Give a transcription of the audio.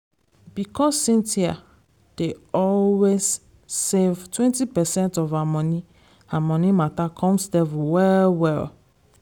because cynthia dey always save 20 percent of her moni her money matter come stable well well